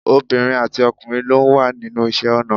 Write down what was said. Obìnrin àti ọkùnrin ló wà nínú iṣẹ́ ọnà